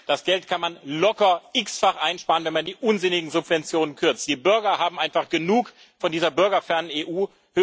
Das Geld kann man locker x fach einsparen, wenn man die unsinnigen Subventionen kürzt. Die Bürger haben einfach genug von dieser bürgerfernen EU.